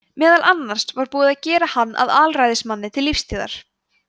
meðal annars var búið að gera hann að alræðismanni til lífstíðar